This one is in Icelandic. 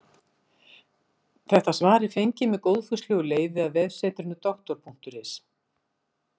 Þetta svar er fengið með góðfúslegu leyfi af vefsetrinu Doktor.is.